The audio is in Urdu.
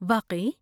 واقعی!؟